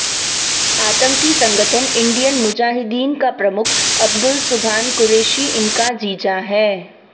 आतंकी संगठन इंडियन मुजाहिदीन का प्रमुख अब्दुल सुभान कुरैशी इनका जीजा है